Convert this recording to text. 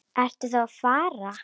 Ertu þá að fara?